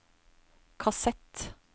kassett